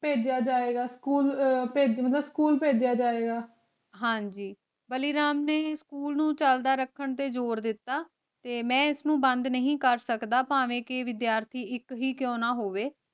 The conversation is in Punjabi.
ਭੇਜ੍ਯਾ ਜੇ ਗਾ ਭੇਜਾਂ ਦਾ ਸਕੂਲ ਭੇਜ੍ਯਾ ਜੇ ਗਾ ਹਾਂਜੀ ਬਾਲੀ ਰਾਮ ਨੇ ਸਕੂਲ ਨੂ ਚਲਦਾ ਰਖਣ ਤੇ ਜੋਰ ਦਿਤਾ ਮੈਂ ਏਸ ਨੂ ਬੰਦ ਨਾਈ ਕਰ ਸਕਦਾ ਪਾਵੇਂ ਕੇ ਵਿਧ੍ਯਰਥੀ ਏਇਕ ਈ ਕ੍ਯੂ ਨਾ ਹੋਵੇ